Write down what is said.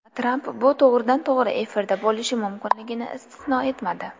Tramp bu to‘g‘ridan to‘g‘ri efirda bo‘lishi mumkinligini istisno etmadi.